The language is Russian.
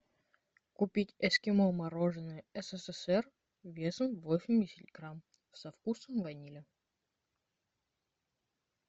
купить эскимо мороженое ссср весом восемьдесят грамм со вкусом ванили